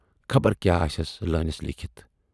خبر کیاہ آسیَس لٲنِس لیٖکھِتھ۔